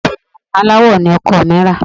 Òsùwọ́n aláwo ni ọkọ mi rà.